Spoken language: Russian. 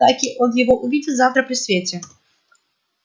таки он его увидит завтра при свете